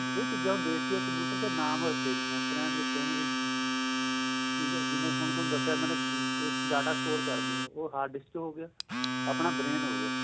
ਏਹ ਚੀਜਾ ਦੇਖ ਕੇ ਉਹ computer ਦੇ ਨਾਂਮ ਰੱਖ਼ੇ ਨੇ primary secondary ਠੀਕ ਏ ਜਿਵੇਂ ਹੁਣ ਤੁਹਾਨੂੰ ਦੱਸਿਆ ਮੈਨੇ data score ਕਰਦਿਆਂ ਉਹ hard disk ਚ ਹੋ ਗਿਆ ਆਪਣਾਂ brain ਹੋ ਗਿਆ